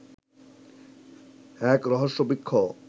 এক রহস্য বৃক্ষ